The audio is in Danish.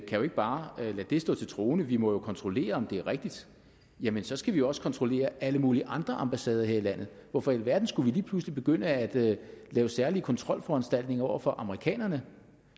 jo ikke bare lade det stå til troende vi må jo kontrollere om det er rigtigt jamen så skal vi også kontrollere alle mulige andre ambassader her i landet hvorfor i alverden skulle vi lige pludselig begynde at lave særlige kontrolforanstaltninger over for amerikanerne